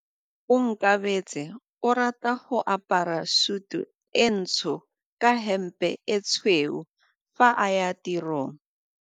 Onkabetse o rata go apara sutu e ntsho ka hempe e tshweu fa a ya tirong.